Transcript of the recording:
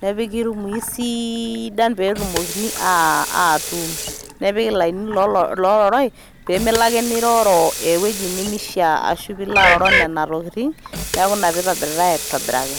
nepiki lmwii siiidan peetumokini atuun, nepiki lainini loorai pimilo ake niroro eweji nemeisha ashu opilo aroro nena tokitin neaku ina peitobiritai aitobiraki.